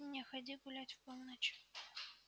не ходи гулять в полночь